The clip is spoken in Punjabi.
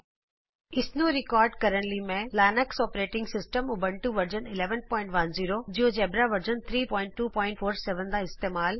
ਇਸ ਟਯੂਟੋਰਿਅਲ ਨੂੰ ਰਿਕਾਰਡ ਕਰਨ ਲਈ ਮੈਂ ਇਸਤੇਮਾਲ ਕਰ ਰਹੀ ਹਾਂ Linux operating system Ubuntu version 1110 Linux operating system Ubuntu version 1110 GeoGebra version 32470